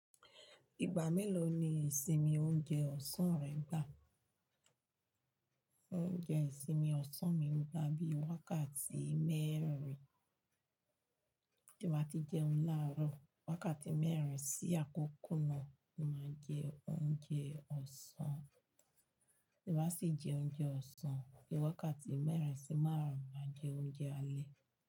Ìgbà mélòó ni ìsinmi oúnjẹ ọ̀sán rẹ ń gbà? Oúnjẹ ìsinmi ọ̀sán mi ń gbà bíi wákàtí mẹ́rin, tí mo bá ti jẹun la'árọ̀ wákàtí mẹ́rin sí àkókò náà ni mo jẹ oúnjẹ ọ̀sán. Tí ba sì jẹ oúnjẹ ọ̀sán, bí wákàtí mẹ́rin sí márùn, má jẹ oúnjẹ alẹ́.